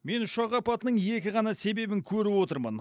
мен ұшақ апатының екі ғана себебін көріп отырмын